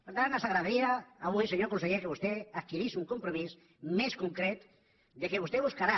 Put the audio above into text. per tant ens agradaria avui senyor conseller que vostè adquirís un compromís més concret que vostè buscarà